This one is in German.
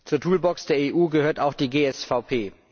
Zur Toolbox der EU gehört auch die GSVP.